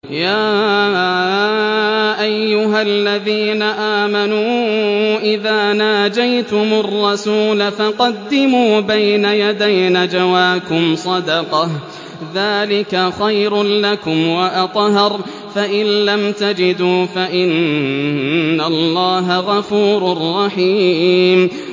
يَا أَيُّهَا الَّذِينَ آمَنُوا إِذَا نَاجَيْتُمُ الرَّسُولَ فَقَدِّمُوا بَيْنَ يَدَيْ نَجْوَاكُمْ صَدَقَةً ۚ ذَٰلِكَ خَيْرٌ لَّكُمْ وَأَطْهَرُ ۚ فَإِن لَّمْ تَجِدُوا فَإِنَّ اللَّهَ غَفُورٌ رَّحِيمٌ